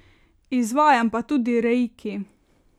Izvajam pa tudi reiki.